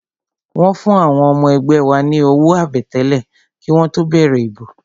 Wọ́n fún àwọn ọmọ ẹgbẹ́ wa ní owó àbẹ̀tẹ́lẹ̀ kí wọ́n tó bẹ̀rẹ̀ ìbò